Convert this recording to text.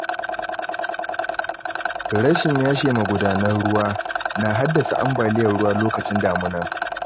Rashin yashe magudanar ruwa na haddasa ambaliyar ruwa lokacin damuna.